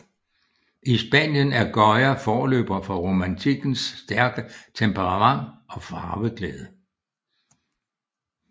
I Spanien er Goya forløber for romantikkens stærke temperament og farveglæde